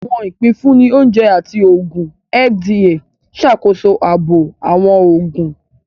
Awọn ipinfunni Oúnjẹ àti Oògùn (FDA) n ṣàkóso ààbò awọn oògùn